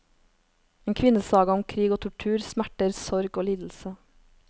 En kvinnesaga om krig og tortur, smerter, sorg og lidelse.